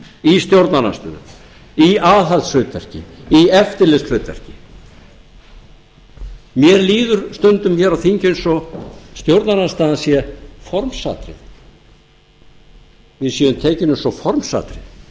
í stjórnarandstöðu í aðhaldshlutverki í eftirlitshlutverki mér líður stundum hér á þingi eins og stjórnarandstaðan sé formsatriði við séum tekin eins og formsatriði